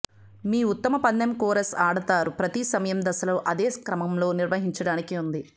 మీ ఉత్తమ పందెం కోరస్ ఆడతారు ప్రతి సమయం దశలను అదే క్రమంలో నిర్వహించడానికి ఉంది